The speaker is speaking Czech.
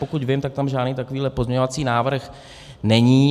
Pokud vím, tak tam žádný takový pozměňovací návrh není.